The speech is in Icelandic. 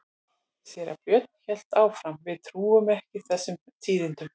Síra Björn hélt áfram:-Við trúum ekki þessum tíðindum.